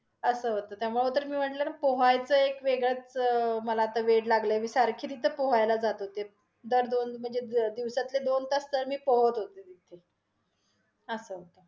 असं होत, त्यामुळं म्हणून तर मी म्हटल पोहायच एक वेगळचं मला आता वेड लागलय. मी सारखी तिथे पोहायला जास्त होते दर दोन, म्हणजे दिवसातले दोन तास तर मी पोहत होते तिथे. असं